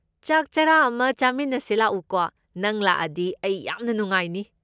ꯆꯥꯛ ꯆꯔꯥ ꯑꯃ ꯆꯥꯃꯤꯟꯅꯁꯦ ꯂꯥꯛꯎꯀꯣ, ꯅꯪ ꯂꯥꯛꯑꯗꯤ ꯑꯩ ꯌꯥꯝꯅ ꯅꯨꯡꯉꯥꯏꯅꯤ꯫